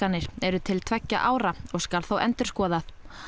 eru til tveggja ára og skal þá endurskoðað